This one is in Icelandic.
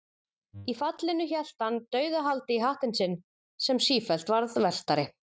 Í fallinu hélt hann dauðahaldi í hattinn sinn, sem sífellt varð velktari.